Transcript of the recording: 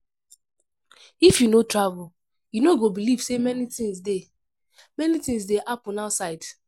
If you no travel, you no go believe say many things dey many things dey happen outside.